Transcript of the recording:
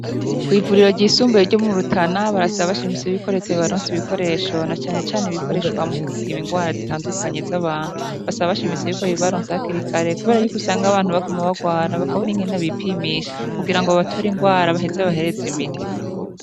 Ivuriro ryisumbuye ryo mu Rutana, barasaba bashimitse ko Leta yobaronsa ibikoresho na canecane ibikoreshwa mu gupima indwara zitandukanye zabantu. basaba bashimitse ko yobibaronse hakiri kare kubera ko usanga abantu baguma barwara bakabura bakabura ingene bipimisha kugira babatore ingwara baheze babahereze imiti.